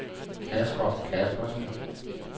Casper Kaspersen